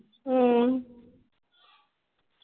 ਅਮ